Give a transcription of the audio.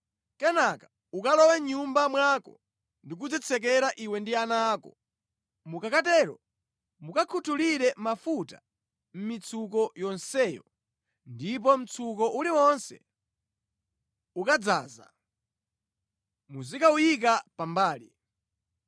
Kenaka ukalowe mʼnyumba mwako ndi kudzitsekera iwe ndi ana ako. Mukakatero mukakhuthulire mafuta mʼmitsuko yonseyo, ndipo mtsuko uliwonse ukadzaza muzikawuyika pambali.”